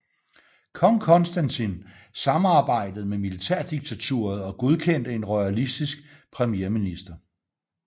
Kong Konstantin samarbejdede med militærdiktaturet og godkendte en royalistisk premierminister